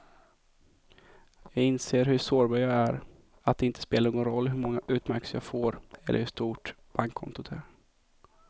Jag inser hur sårbar jag är, att det inte spelar någon roll hur många utmärkelser jag får eller hur stort bankkontot är.